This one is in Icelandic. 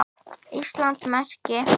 Íslands merki.